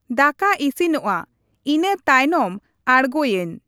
ᱫᱟᱠᱟ ᱤᱥᱤᱱᱚᱜᱼᱟ ᱾ ᱤᱱᱟᱹ ᱛᱟᱭᱱᱚᱢ ᱟᱬᱜᱚᱭᱟᱹᱧ᱾